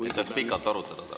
Et saaks pikalt arutada!